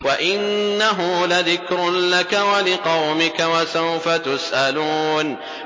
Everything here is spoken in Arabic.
وَإِنَّهُ لَذِكْرٌ لَّكَ وَلِقَوْمِكَ ۖ وَسَوْفَ تُسْأَلُونَ